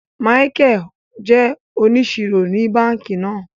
Michael jé òníṣírò ní bánkì náà